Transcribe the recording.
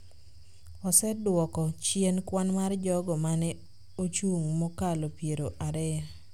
osedwoko chien kwan mar jogo ma ne ochung’ mokalo piero ariyo